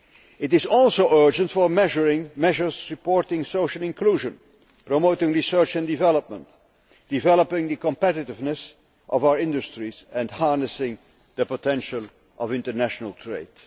It is also urgent for measures supporting social inclusion, promoting research and development, developing the competitiveness of our industries, and harnessing the potential of international trade.